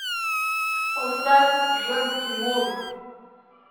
поставь женский мозг